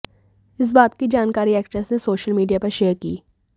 इस बात की जानकारी एक्ट्रेस ने सोशल मीडिया पर शेयर की